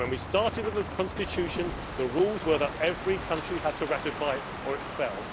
When we started with the Constitution, the rules were that every country had to ratify it or it fell.